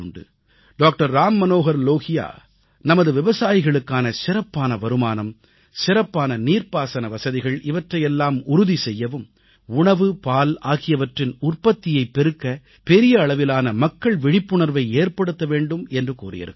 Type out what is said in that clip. doctor Ram Manohar Lohia நமது விவசாயிகளுக்கான சிறப்பான வருமானம் சிறப்பான நீர்ப்பாசன வசதிகள் இவற்றையெல்லாம் உறுதி செய்யவும் உணவு பால் ஆகியவற்றின் உற்பத்தியைப் பெருக்க பெரிய அளவிலான மக்கள் விழிப்புணர்வை ஏற்படுத்த வேண்டும் என்று கூறியிருக்கிறார்